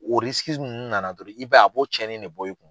O nana dɔrɔn i b'a ye, a bo cɛn ni de bɔ, i kun.